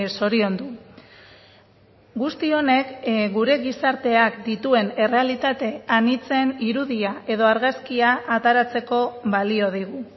zoriondu guzti honek gure gizarteak dituen errealitate anitzen irudia edo argazkia ateratzeko balio digu